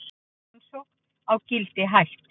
Rannsókn á Gildi hætt